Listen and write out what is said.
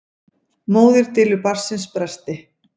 Móðir dylur barnsins bresti.